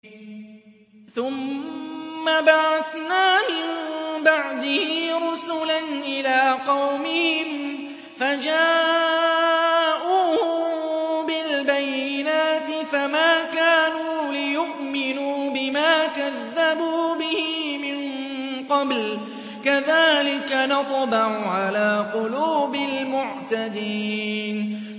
ثُمَّ بَعَثْنَا مِن بَعْدِهِ رُسُلًا إِلَىٰ قَوْمِهِمْ فَجَاءُوهُم بِالْبَيِّنَاتِ فَمَا كَانُوا لِيُؤْمِنُوا بِمَا كَذَّبُوا بِهِ مِن قَبْلُ ۚ كَذَٰلِكَ نَطْبَعُ عَلَىٰ قُلُوبِ الْمُعْتَدِينَ